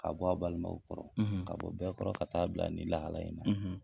K'a bɔ a balimaw kɔrɔ, k'a bɔ bɛɛ kɔrɔ ka taaa bila nin lahala in na.